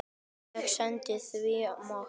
Ég sendi því mat.